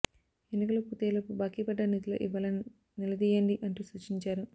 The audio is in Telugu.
ఎన్నికలు పూర్తయ్యేలోపు బాకీ పడ్డ నిధులు ఇవ్వాలని నిలదీయ్యండి అంటూ సూచించారు